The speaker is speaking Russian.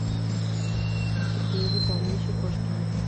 сергее витальевиче кошкине